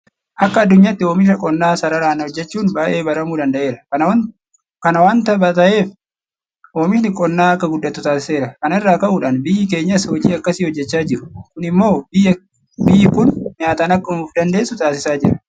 Akka addunyaatti oomisha qonnaa sararaan hojjechuun baay'ee baramuu danda'eera. Kana waanta ta'eef oomishni qonnaa akka guddatu taasiseera. Kana irraa ka'uudhaan biyyi keenyas hojii akkasii hojjechaa jiru. Kun immoo biyyi kun nyaataan akka ofdandeessu taasisaa jira.